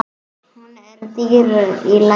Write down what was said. Hún er dýr í dag.